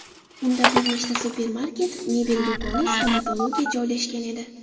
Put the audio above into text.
Unda bir nechta supermarket, mebel do‘koni, stomatologiya joylashgan edi.